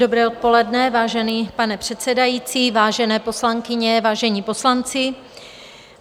Dobré odpoledne, vážený pane předsedající, vážené poslankyně, vážení poslanci.